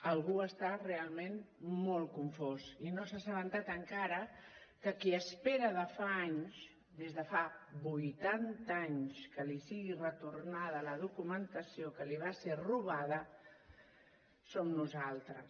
algú està realment molt confós i no s’ha assabentat encara que qui espera de fa anys des de fa vuitanta anys que li sigui retornada la documentació que li va ser robada som nosaltres